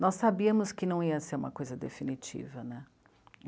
Nós sabíamos que não ia ser uma coisa definitiva, né?